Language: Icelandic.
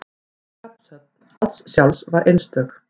Skaphöfn Odds sjálfs var einstök.